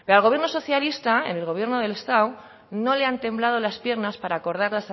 pero al gobierno socialista en el gobierno del estado no le han temblado las piernas para acordar